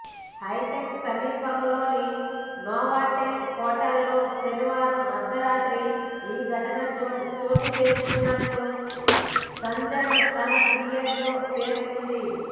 హైటెక్స్ సమీపంలోని నోవాటెల్ హోటల్లో శనివారం అర్ధరాత్రి ఈ ఘటన చోటు చేసుకున్నట్లు సంజన తన ఫిర్యాదులో పేర్కొంది